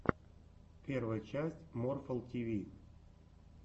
первая часть морфл ти ви